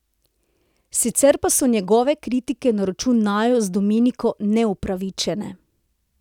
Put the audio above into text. Sicer pa so njegove kritike na račun naju z Dominiko neupravičene.